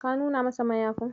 Ka nuna masa mayafin?